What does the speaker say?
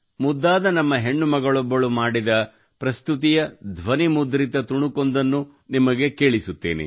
ಮುದ್ದಾದ ನಮ್ಮ ಹೆಣ್ಣು ಮಗಳೊಬ್ಬಳು ಮಾಡಿದ ಪ್ರಸ್ತುತಿಯ ಧ್ವನಿಮುದ್ರಿತ ತುಣುಕೊಂದನ್ನು ನಿಮಗೆ ಕೇಳಿಸುತ್ತೇನೆ